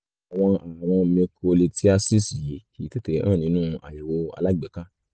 àwọn ààrùn microlithiasis yìí kìí tètè hàn nínú àyẹ̀wò alágbèéká